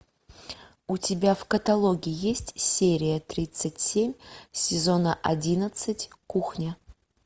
у тебя в каталоге есть серия тридцать семь сезона одиннадцать кухня